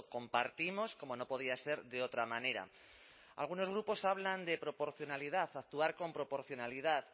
compartimos como no podía ser de otra manera algunos grupos hablan de proporcionalidad actuar con proporcionalidad